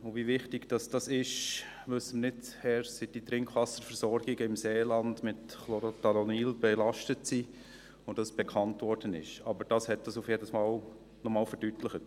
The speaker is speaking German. Wie wichtig dies ist, wissen wir nicht erst, seit die Trinkwasserversorgungen im Seeland mit Chlorothalonil belastet sind und dies bekannt geworden ist, aber dies hat es auf jeden Fall noch einmal verdeutlicht.